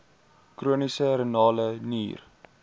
chroniese renale nier